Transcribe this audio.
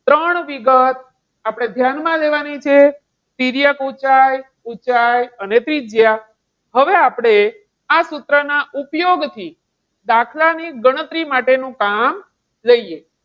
ત્રણ વિગત આપણે ધ્યાનમાં લેવાની છે. તેરેક ઊંચાઈ અને ત્રિજ્યા. હવે આપણે આ સૂત્રનો ઉપયોગથી દાખલાની ગણતરી માટેનું કામ લઈએ.